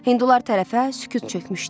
Hindular tərəfə sükut çökmüşdü.